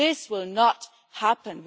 This will not happen.